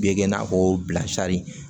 Bɛ kɛ i n'a fɔ bilasira